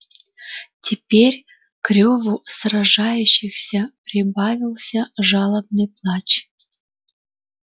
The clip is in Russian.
теперь к реву сражающихся прибавился жалобный плач